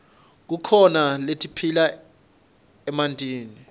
kukhona letiphila emantini